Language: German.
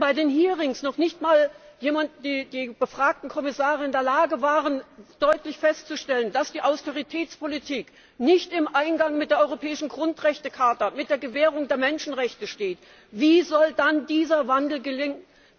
Wenn bei den Hearings noch nicht einmal die befragten Kommissare in der Lage waren, deutlich festzustellen, dass die Austeritätspolitik nicht im Einklang mit der Europäischen Grundrechtecharta, mit der Gewährung der Menschenrechte steht, wie soll dann dieser Wandel gelingen?